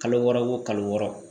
Kalo wɔɔrɔ o kalo wɔɔrɔ